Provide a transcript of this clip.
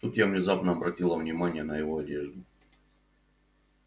тут я внезапно обратила внимание на его одежду